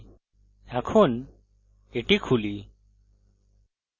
এখন এটি খুলি